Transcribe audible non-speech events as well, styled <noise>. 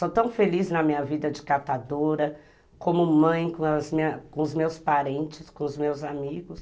Sou tão feliz na minha vida de catadora, como mãe, <unintelligible> com os meus parentes, com os meus amigos.